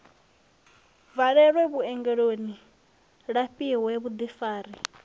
bvalelwe vhuongeloni a lafhiwe vhuḓifari